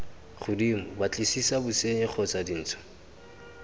godimo batlisisa bosenyi kgotsa dintsho